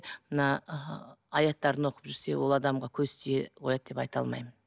мына ы аяттарын оқып жүрсе ол адамға көз тие қояды деп айта алмаймын